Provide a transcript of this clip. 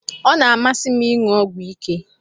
Ọ na-amasị m ịṅụ ọgwụ ike